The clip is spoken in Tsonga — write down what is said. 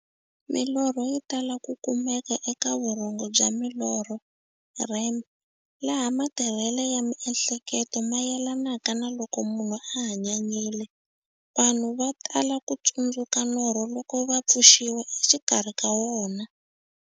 Milorho yi tala ku kumeka eka vurhongo bya milorho, REM, laha matirhele ya miehleketo mayelanaka na loko munhu a hanyanyile. Vanhu va tala ku tsundzuka norho loko va pfuxiwa exikarhi ka wona.